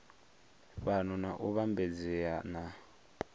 fhano na u vhambedzea na